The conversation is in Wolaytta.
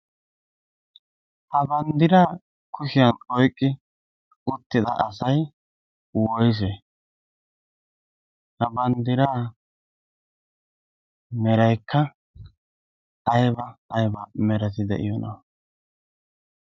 Ha banddiraa kushiyan oyqqi uttida asay woyse? Ha banddiraa meraikka ayba ayba merati de'iyoona?